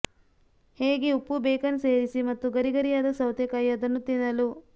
ಹೇಗೆ ಉಪ್ಪು ಬೇಕನ್ ಸೇರಿಸಿ ಮತ್ತು ಗರಿಗರಿಯಾದ ಸೌತೆಕಾಯಿ ಅದನ್ನು ತಿನ್ನಲು